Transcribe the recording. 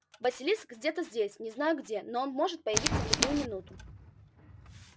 василиск где-то здесь не знаю где но он может появиться в любую минуту